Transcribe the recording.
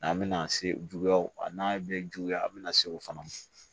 N'an bɛna se juguyaw ma a n'a bɛ juguya an bɛna se o fana ma